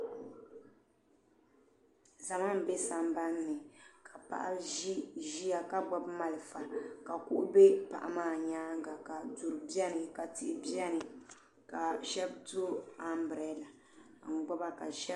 Zama m be sambani ka paɣa ʒia ka gbibi marafa ka kuɣu be paɣa maa nyaanga ka duri biɛni ka tihi biɛni ka sheba yo ambrada n gbiba ka sheba.